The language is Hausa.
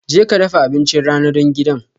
Jeka dafa abincin rana don gidan